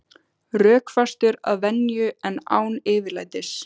Rökfastur að venju en án yfirlætis.